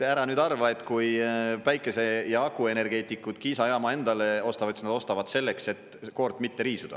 Ära nüüd arva, et kui päikese‑ ja akuenergeetikud Kiisa jaama endale ostavad, siis nad ostavad selleks, et koort mitte riisuda.